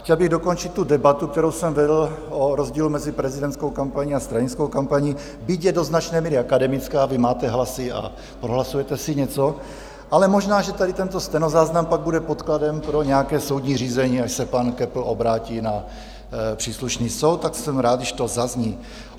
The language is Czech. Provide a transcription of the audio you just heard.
Chtěl bych dokončit tu debatu, kterou jsem vedl, o rozdílu mezi prezidentskou kampaní a stranickou kampaní, byť je do značné míry akademická - vy máte hlasy a prohlasujete si něco, ale možná že tady tento stenozáznam pak bude podkladem pro nějaké soudní řízení, až se pan Köppl obrátí na příslušný soud, tak jsem rád, když to zazní.